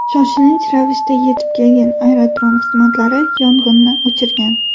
Shoshilinch ravishda yetib kelgan aerodrom xizmatlari yong‘inni o‘chirgan.